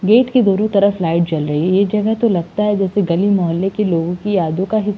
Gate के दोनों तरफ लाइट जल रही हैं। ये जगह तो लगता है जैसे गली मोहल्ले के लोगों की यादों का हिस --